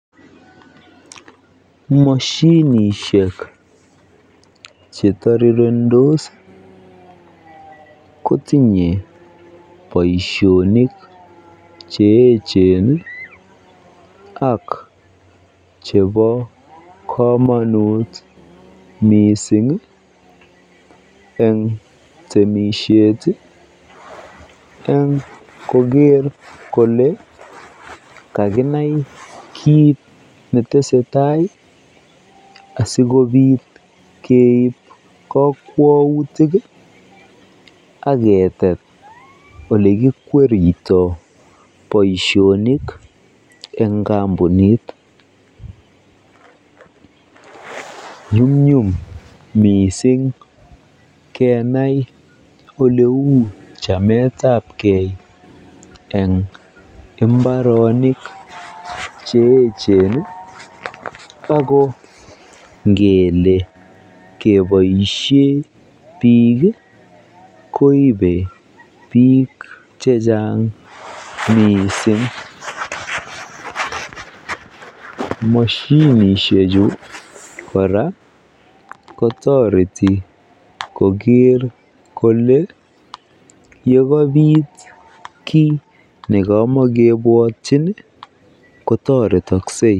Moshinishek chetirirendos kotinye boishonik che echen ak chebo komonut mising eng temishet eng koker kolee kakinai kiit netesetai asikobit keib kokwoutik ak ketet elekikwerito boishonik en kombunit, nyumnyum mising kenai oleuu chametabkei eng imbaronik che echen ak ko ngele keboishe biik koibe biik chechang mising, moshinishechu kora kotoreti koker kolee yekobit kii nekomokibwotyin kotoretokse.